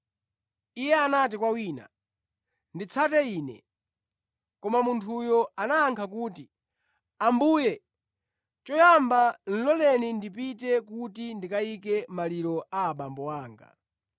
Iye anati kwa wina, “Nditsate Ine.” Koma munthuyo anayankha kuti, “Ambuye, choyamba loleni ndipite kuti ndikayike maliro a abambo anga.”